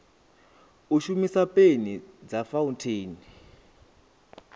u shumisa peni dza fauntheini